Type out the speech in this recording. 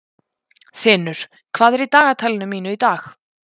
Þinur, hvað er í dagatalinu mínu í dag?